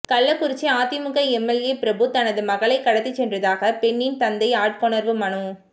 கள்ளக்குறிச்சி அதிமுக எம்எல்ஏ பிரபு தனது மகளை கடத்தி சென்றதாக பெண்ணின் தந்தை ஆட்கொணர்வு மனு